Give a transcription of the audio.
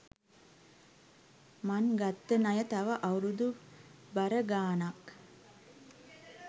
මං ගත්ත ණය තව අවුරුදු බර ගාණක්